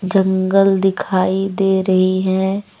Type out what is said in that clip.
जंगल दिखाई दे रही है।